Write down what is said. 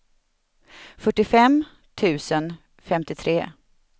fyrtiofem tusen femtiotre